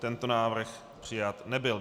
Tento návrh přijat nebyl.